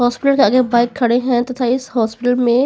hospital के आगे bike खड़े हैं तथा इस हॉस्पिटल में--